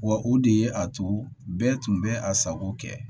Wa o de ye a tu bɛɛ tun bɛ a sago kɛ